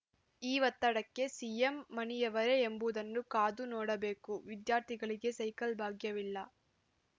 ಈ ಒತ್ತಡಕ್ಕೆ ಸಿಎಂ ಮಣಿಯುವರೇ ಎಂಬುದನ್ನು ಕಾದು ನೋಡಬೇಕು ವಿದ್ಯಾರ್ಥಿಗಳಿಗೆ ಸೈಕಲ್‌ ಭಾಗ್ಯವಿಲ್ಲ